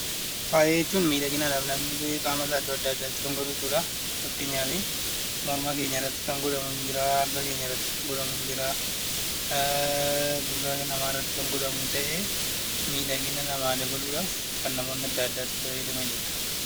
Faaya jechuun meeshaalee namni qaama isaa adda addaatti gonfatu jechuudha. Fakkeenyaaf morma, harkaa fi gurra irratti kan godhamu ta'ee miidhagina namaa dabaluudhaaf kan namoonni adda addaa fayyadamanidha